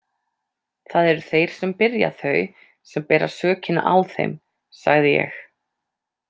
Það eru þeir sem byrja þau sem bera sökina á þeim, sagði ég.